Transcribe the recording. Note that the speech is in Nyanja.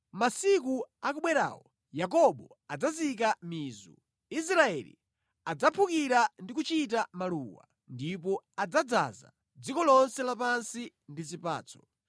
Masiku akubwerawo Yakobo adzazika mizu, Israeli adzaphukira ndi kuchita maluwa, ndipo adzadzaza dziko lonse lapansi ndi zipatso.